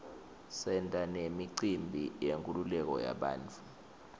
senta nemicimbi yenkululeko yabantfu